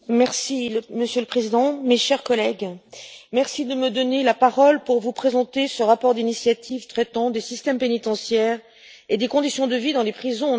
Monsieur le Président, chers collègues, je vous remercie de me donner la parole pour vous présenter ce rapport d'initiative traitant des systèmes pénitentiaires et des conditions de vie dans les prisons en Europe.